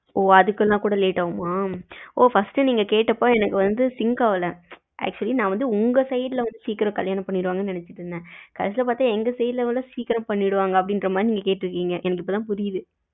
ஓ அதுக்குன்னா கூட late ஆகுமா ஓ first நீங்க கேட்டப்ப எனக்கு வந்து sink ஆகல actually நா வந்து உங்க side வந்து சீக்கிரம் கல்யாணம் பண்ணிருவாங்கன்னு நெனச்சுக்கிட்டு இருந்தேன் கடைசில பாத்தா எங்க side ல சீக்கிரம் பண்ணிடுவாங்க அப்படி மாதிரி நீங்க கேட்டுருகிங்க எனக்கு இபோதா புரிது